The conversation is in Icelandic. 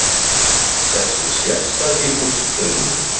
Þessi sérstaki haustilmur.